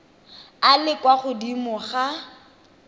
a le kwa godimo ga